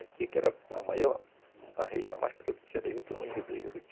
Aqui que era a região mais produtiva